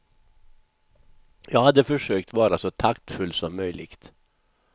Jag hade försökt vara så taktfull som möjligt.